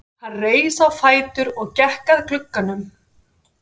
Hann reis á fætur og gekk að glugganum.